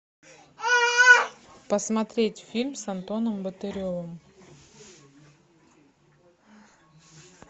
посмотреть фильм с антоном батыревым